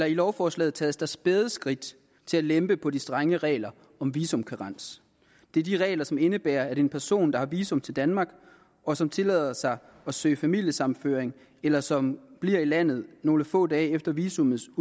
i lovforslaget tages der spæde skridt til at lempe på de strenge regler om visumkarens det er de regler som indebærer at en person der har visum til danmark og som tillader sig at søge familiesammenføring eller som bliver i landet nogle få dage efter visummets